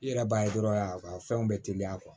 I yɛrɛ b'a ye dɔrɔn a ka fɛnw bɛ teliya